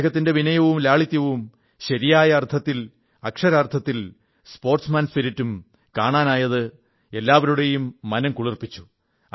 അദ്ദേഹത്തിന്റെ വിനയവും ലാളിത്യവും ശരിയായ അർഥത്തിൽ അക്ഷരാർഥത്തിൽ സ്പോർട്സ്മാൻ സ്പിരിറ്റും കാണാനായത് എല്ലാവരുടെയും മനം കുളിർപ്പിച്ചു